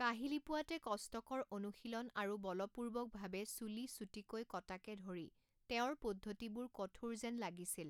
কাহিলিপুৱাতে কষ্টকৰ অনুশীলন আৰু বলপূৰ্বকভাৱে চুলি চুটিকৈ কটাকে ধৰি তেওঁৰ পদ্ধতিবোৰ কঠোৰ যেন লাগিছিল।